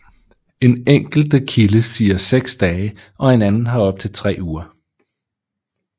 En enkelte kilde siger 6 dage og en anden har op til 3 uger